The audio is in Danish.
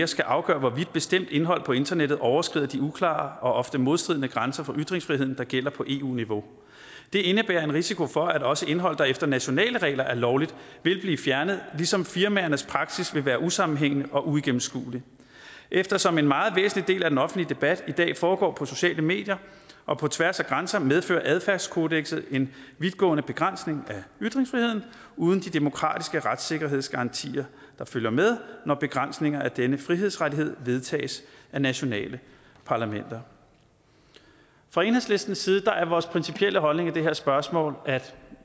skal afgøre hvorvidt bestemt indhold på internettet overskrider de uklare og ofte modstridende grænser for ytringsfriheden der gælder på eu niveau det indebærer en risiko for at også indhold der efter nationale regler er lovligt vil blive fjernet ligesom firmaernes praksis vil være usammenhængende og uigennemskuelig eftersom en meget væsentlig del af den offentlige debat i dag foregår på de sociale medier og på tværs af grænser medfører adfærdskodekset en vidtgående begrænsning af ytringsfriheden uden de demokratiske retssikkerhedsgarantier der følger med når begrænsninger af denne frihedsrettighed vedtages af nationale parlamenter fra enhedslistens side er vores principielle holdning i det her spørgsmål at